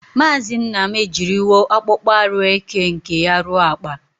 Maazi Nnam ejiriwo akpokpo aru eke nke ya ruo Akpa.